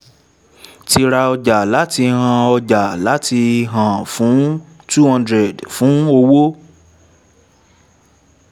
ti ra ọjà láti hari ọjà láti ha[n fún two hundred fún owó